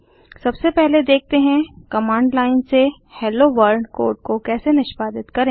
सबसे पहले देखते हैं कमांड लाइन से हेलो वर्ल्ड कोड को कैसे निष्पादित करें